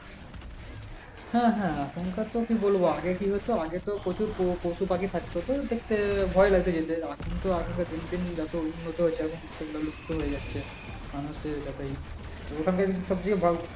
হ্যাঁ হা এখনকার তো কি বলব আগে কি হতো আগে তো প্রচুর পশুপাখি থাকতো তো দেখতে ভয় লাগতো যেতে এখন তো এখন তো আসলে দিন দিন যত উন্নত হয়েছে এখন সেগুলো লুপ্ত হয়ে যাচ্ছে মানুষের যতই